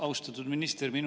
Austatud minister!